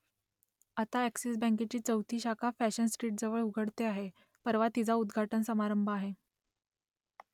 आता अ‍ॅक्सिस बँकेची चौथी शाखा फॅशन स्ट्रीटजवळ उघडते आहे , परवा तिचा उद्घाटन समारंभ आहे